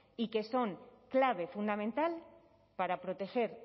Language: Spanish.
y que son clave fundamental para proteger